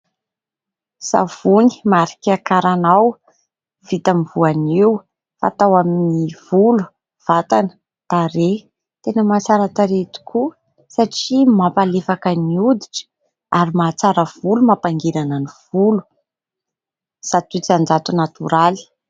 Savony marika "karanao" vita amin'ny voanio. Fanao amin'ny volo, vatana, tarehy. Tena mahatsara tarehy tokoa satria mampalefaka ny hoditra ary mahatsara volo mampangirana ny volo zato isan-jato natoraly.